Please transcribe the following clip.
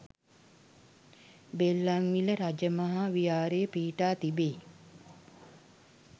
බෙල්ලන්විල රජ මහා විහාරය පිහිටා තිබෙයි.